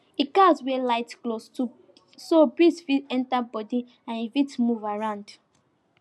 e gats wear light cloth so breeze fit enter him body and e fit move around